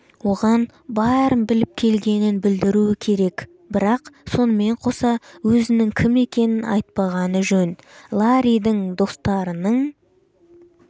оған бәрін біліп келгенін білдіруі керек бірақ сонымен қоса өзінің кім екенін айтпағаны жөн ларридің дстарының